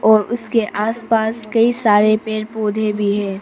और उसके आसपास कई सारे पेड़ पौधे भी है।